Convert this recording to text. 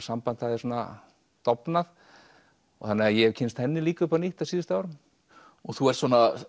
samband hafði svona dofnað þannig að ég hef kynnst henni líka upp á nýtt á síðustu árum þú ert